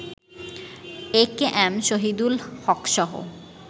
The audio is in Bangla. A K M Shahidul হকসহ